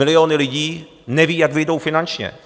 Miliony lidí nevědí, jak vyjdou finančně.